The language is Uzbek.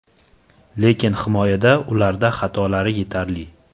Lekin himoyada ularda xatolari yetarli.